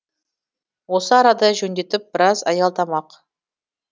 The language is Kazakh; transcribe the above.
осы арада жөндетіп біраз аялдамақ